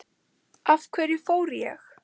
Af hverju fór ég?